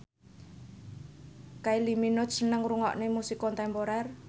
Kylie Minogue seneng ngrungokne musik kontemporer